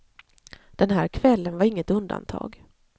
Den här kvällen var inget undantag.